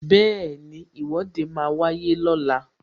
Bẹẹni, Ìwọ́de máa wáyé lọ́la